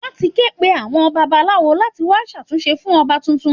Wọ́n ti ké pe àwọn babalawo láti wá ṣàdúrà fún Ọba tuntun